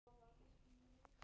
Stundum hefur litlu munað.